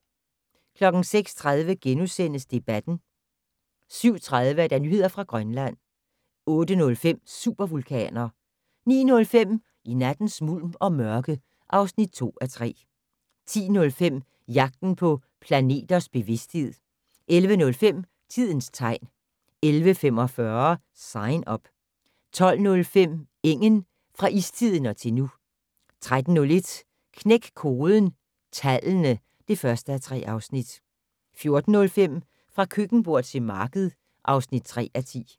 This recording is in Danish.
06:30: Debatten * 07:30: Nyheder fra Grønland 08:05: Supervulkaner 09:05: I nattens mulm og mørke (2:3) 10:05: Jagten på planters bevidsthed 11:05: Tidens tegn 11:45: Sign Up 12:05: Engen - fra istiden og til nu 13:01: Knæk koden - tallene (1:3) 14:05: Fra køkkenbord til marked (3:10)